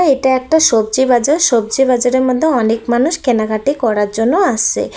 এটা একটা সবজি বাজার সবজি বাজারের মধ্যে অনেক মানুষ কেনাকাটি করার জন্য আসছে।